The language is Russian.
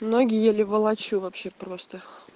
ноги еле волочу вообще просто